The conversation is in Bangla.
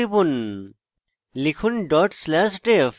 enter টিপুন লিখুন dot slash def